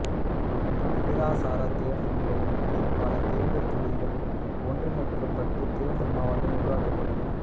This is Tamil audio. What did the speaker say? விகிதாசாரத் தேர்தல் முறையின் கீழ் பல தேர்தல் தொகுதிகள் ஒன்றிணைக்கப்பட்டுத் தேர்தல் மாவட்டங்கள் உருவாக்கப்பட்டன